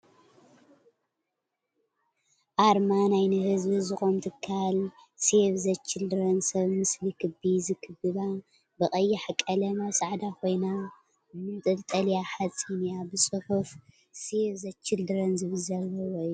ኣርማ ናይ ንህዝቢ ዝቆም ትካል ሴቭ ዘ ችልድረን ሰብ ምስሊ ክቢ ዝክብባ ብቀያሕ ቀለም ኣብ ፃዕዳ ኮይና ምንጠልጠሊኣ ሓፂን እያ። ብፅሑፍ ሴቭ ዘ ችልድረን ዝብል ዘልዎ እዩ።